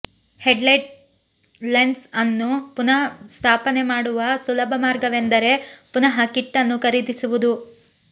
headlight lens ಅನ್ನು ಪುನಃಸ್ಥಾಪನೆ ಮಾಡುವ ಸುಲಭ ಮಾರ್ಗವೆಂದರೆ ಪುನಃ ಕಿಟ್ ಅನ್ನು ಖರೀದಿಸುವುದು